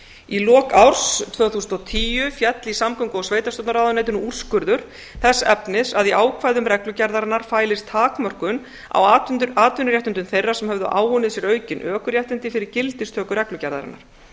í lok árs tvö þúsund og tíu féll í samgöngu og sveitarstjórnarráðuneytinu úrskurður þess efnis að í ákvæðum reglugerðarinnar fælist takmörkun á atvinnuréttindum þeirra sem höfðu áunnið sér aukin ökuréttindi fyrir gildistöku reglugerðarinnar